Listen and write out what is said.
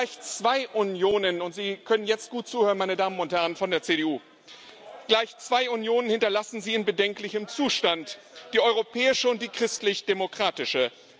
Gleich zwei Unionen und Sie können jetzt gut zuhören, meine Damen und Herren von der CDU gleich zwei Unionen hinterlassen Sie in bedenklichem Zustand die Europäische und die Christlich Demokratische.